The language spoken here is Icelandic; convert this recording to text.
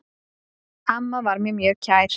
Amma var mér mjög kær.